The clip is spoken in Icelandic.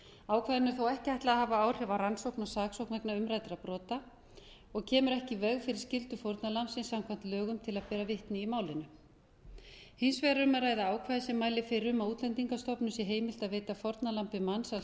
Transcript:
ákvæðinu er þó ekki ætlað að hafa áhrif á rannsókn og saksókn vegna umræddra brota og kemur ekki í veg fyrir skyldu fórnarlambsins samkvæmt lögum til að bera vitni í málinu hins vegar er um að ræða ákvæði sem mælir fyrir um að útlendingastofnun sé heimilt að veita fórnarlambi mansals